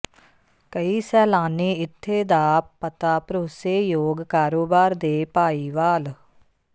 ਕਈ ਸੈਲਾਨੀ ਇੱਥੇ ਦਾ ਪਤਾ ਭਰੋਸੇਯੋਗ ਕਾਰੋਬਾਰ ਦੇ ਭਾਈਵਾਲ